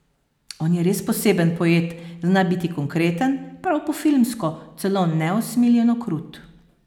On je res poseben poet, zna biti konkreten, prav po filmsko, celo neusmiljeno krut.